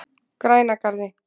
Grænagarði